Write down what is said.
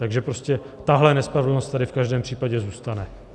Takže prostě tahle nespravedlnost tady v každém případě zůstane.